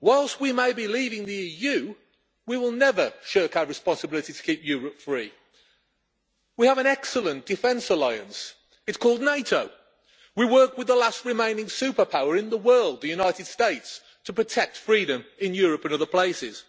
Whilst we may be leaving the EU, we will never shirk our responsibility to keep Europe free. We have an excellent defence alliance it's called NATO. We work with the last remaining superpower in the world, the United States, to protect freedom in Europe and other places.